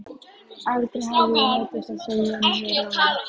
Aldrei hafði ég notið þess jafn vel áður.